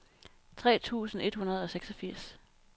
tre tusind et hundrede og seksogfirs